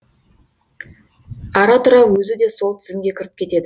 ара тұра өзі де сол тізімге кіріп кетеді